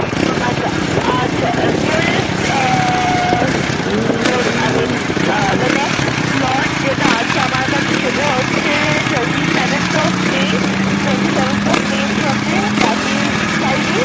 আচ্ছা! আচ্ছা! nearest ah I mean the next slot যেটা আছে আমার কাছে সেটা হচ্ছে twenty seventh of may twenty seventh of may এর জন্যে that is friday ।